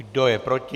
Kdo je proti?